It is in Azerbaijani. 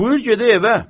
Buyur gedək evə.